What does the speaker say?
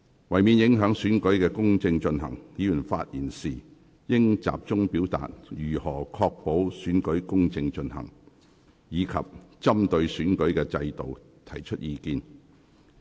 為免影響行政長官選舉公正進行，議員在發言時應集中表達如何確保選舉公正進行，以及針對選舉制度提出意見。